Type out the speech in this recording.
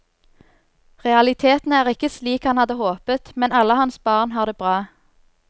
Realitetene er ikke slik han hadde håpet, men alle hans barn har det bra.